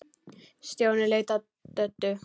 Stjáni leit á Döddu.